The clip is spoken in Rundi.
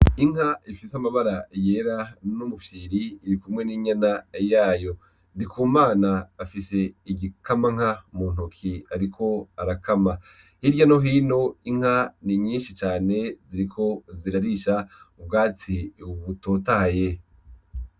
Inka ifise amabara yera n'umufyiri iri kumwe n'inyana yayo, Ndikumana afise igikamanka mu ntoki, ariko arakama hirya no hino inka ni nyinshi cane ziriko zirarisha ubwatsi wubutotaye.